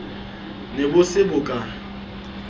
ne bo se bo ka